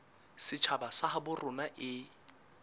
setjhaba sa habo rona e